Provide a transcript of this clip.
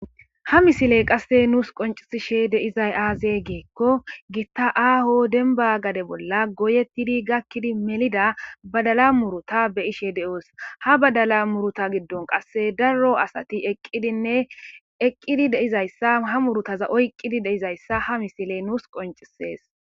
ha misile qasse nuus qoncisishe deizay aazey geekko gitta aaho denba gade bolla goyettidi gakkidi melida badala muruta be ishe de7oos ha badala muruta giddon qasse darro asati eqqidinne eqqidi deizayssa ha murutaza oyqqidi deizayssa ha misiley nuus qoncisees